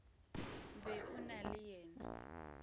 be o na le yena